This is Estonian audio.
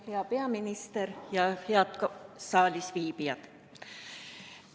Hea peaminister ja head saalisviibijad!